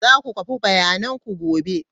Za ku kwafi bayananku gobe.